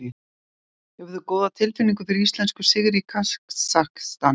Hefur þú góða tilfinningu fyrir íslenskum sigri í Kasakstan?